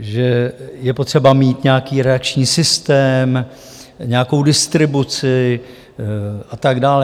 že je potřeba mít nějaký redakční systém, nějakou distribuci a tak dále.